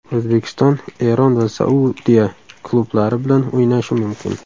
O‘zbekiston Eron va Saudiya klublari bilan o‘ynashi mumkin.